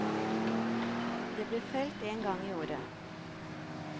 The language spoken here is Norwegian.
Det ble felt en gang i året.